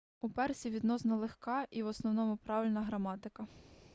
у персів відносно легка і в основному правильна граматика